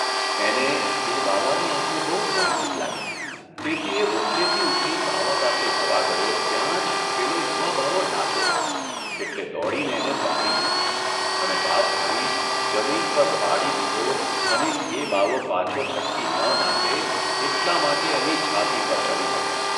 એને એ બાવાની આંખો બહુ પરિચિત લાગી તેથી એ ઓટલેથી ઊઠી બાવા પાસે જવા ગયો ત્યાં જ પેલો યુવાબાવો નાઠો, એટલે દોડીને એને પકડી લીધો અને બાથ ભરી જમીન પર પાડી દીધો અને એ બાવો પાછો છટકી ન નાસે એટલા માટે એની છાતી પર ચઢી બેઠો.